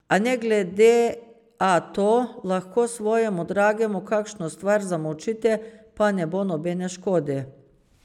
A ne glede a to, lahko svojemu dragemu kakšno stvar zamolčite, pa ne bo nobene škode.